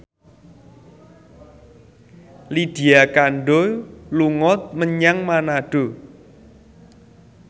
Lydia Kandou dolan menyang Manado